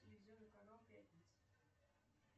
телевизионный канал пятница